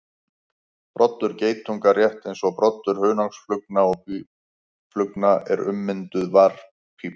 Broddur geitunga, rétt eins og broddur hunangsflugna og býflugna, er ummynduð varppípa.